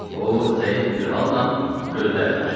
O, zəif bir halnan gözlərini açdı.